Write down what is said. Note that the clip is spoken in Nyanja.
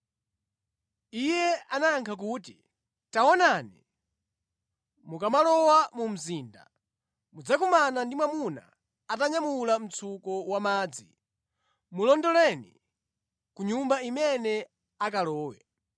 Iye anayankha kuti, “Taonani, mukamalowa mu mzinda, mudzakumana ndi mwamuna atanyamula mtsuko wamadzi. Mulondoleni ku nyumba imene akalowe,